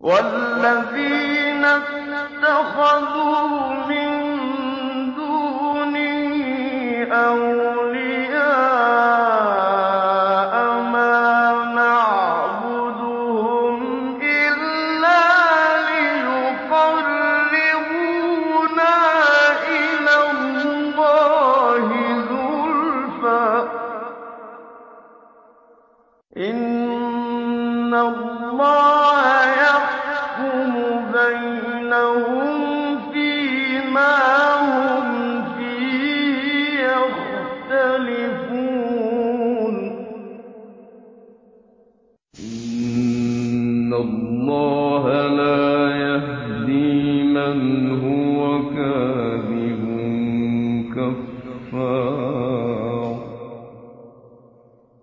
وَالَّذِينَ اتَّخَذُوا مِن دُونِهِ أَوْلِيَاءَ مَا نَعْبُدُهُمْ إِلَّا لِيُقَرِّبُونَا إِلَى اللَّهِ زُلْفَىٰ إِنَّ اللَّهَ يَحْكُمُ بَيْنَهُمْ فِي مَا هُمْ فِيهِ يَخْتَلِفُونَ ۗ إِنَّ اللَّهَ لَا يَهْدِي مَنْ هُوَ كَاذِبٌ كَفَّارٌ